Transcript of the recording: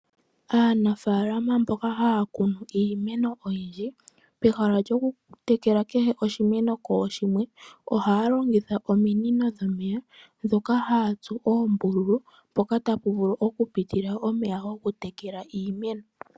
Aanafaalama mboka haa kunu iimeno oyindji pehala lyokutekela kehe oshimeno kooshimwe ohaa longitha ominono dhomeya dhoka haatsu oombululu mpoka tapu vulu okupitila omeya gokutekela iimeno.